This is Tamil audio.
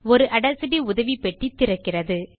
ஒரு ஆடாசிட்டி உதவிப் பெட்டி திறக்கிறது